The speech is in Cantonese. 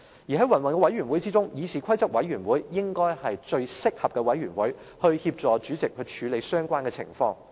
在云云委員會中，議事規則委員會應該是最適合的委員會，可以協助主席處理相關情況。